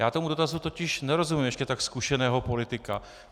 Já tomu dotazu totiž nerozumím, ještě tak zkušeného politika.